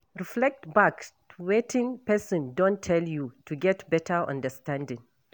Reflect back to wetin person don tell you to get better understanding